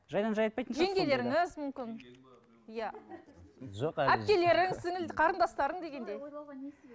жайдан жай айтпайтын жеңгелеріңіз мүмкін иә әпкелерің қарындастарың дегендей ойлауға не себеп